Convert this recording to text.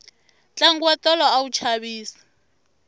tlangu wa tolo a wu chavisa